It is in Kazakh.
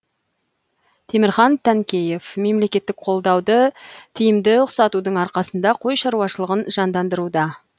темірхан танкеев мемлекеттік қолдауды тиімді ұқсатудың арқасында қой шаруашылығын жандандыруда